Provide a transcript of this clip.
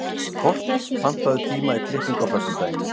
Kort, pantaðu tíma í klippingu á föstudaginn.